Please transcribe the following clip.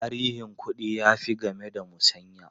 Tarihin kuɗi ya fi game da musanya.